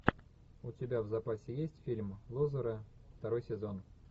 у тебя в запасе есть фильм лузеры второй сезон